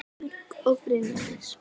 Björk og Brynja Dís.